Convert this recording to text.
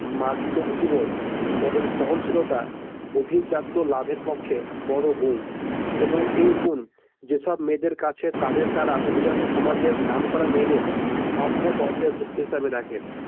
মার্জিত রুচিবোধ এবং সহনশীলতা অভিজাত্য লাভের পক্ষে বড় গুন এবং এই গুণ যেসব মেয়েদের কাছে তাদের দ্বারা অভিজাত সমাজের নামকরা মেয়েদের সম্ম্য পর্যায়ে উক্ত হিসাবে রাখে।